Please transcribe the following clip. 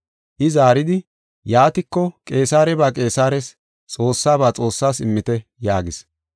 I zaaridi, “Yaatiko, Qeesareba Qeesares, Xoossaba Xoossaas immite” yaagis.